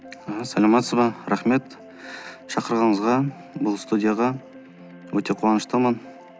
ааа саламатсыз ба рахмет шақырғаныңызға бұл студияға өте қуаныштымын